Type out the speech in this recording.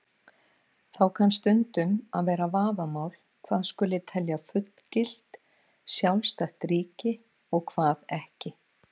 Þá kann stundum að vera vafamál hvað skuli telja fullgilt, sjálfstætt ríki og hvað ekki.